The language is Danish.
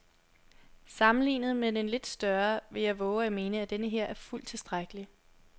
Sammenlignet med den lidt større vil jeg vove at mene, at denneher er fuldt tilstrækkelig.